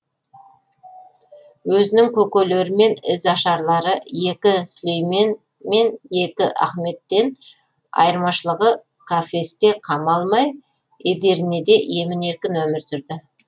өзінің көкелері мен ізашарлары екінші сүлеймен мен екінші ахметтен айырмашылығы кафесте қамалмай эдирнеде емін еркін өмір сүрді